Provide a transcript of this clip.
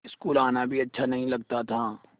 school आना भी अच्छा नहीं लगता था